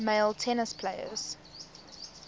male tennis players